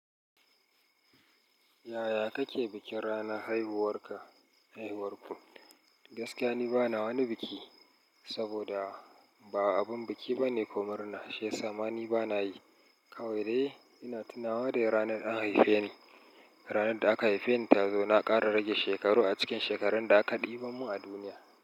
Yaya kake bikin ranar haihuwar ka, haihuwarku? Gaskiya ni bana wani biki, saboda ba abin biki bane ko murna, shiyasa ma ni bana yi. Kawai dai ina tunawa da ranar an haife ni. Ranar da aka haife ni ta zo na ƙara rage shekaru a cikin shekarun da aka ɗiba mun a duniya.